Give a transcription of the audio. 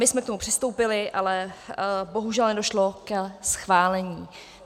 My jsme k tomu přistoupili, ale bohužel nedošlo ke schválení.